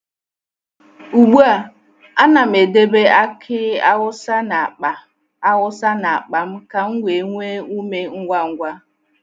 Ugbu a, a na'm edebe aki awusa n’akpa awusa n’akpa m ka m nwee ume ngwa ngwa.